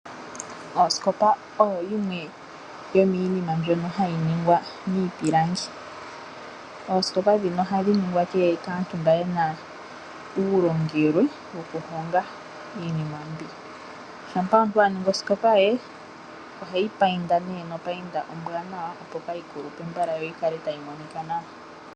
Osikopa oyo yimwe yomiina mbyoka hayi ningwa miipilangi. Oosikopa ndhika ohadhi ningwa kaantu mboka ye na uulongelwe wokuninga iinima mbika. Shampa omuntu a ningi osikopa oheyi painda nopainda ombwanawa, opo kaayi kulupe yo yi kale tayi monika nawa.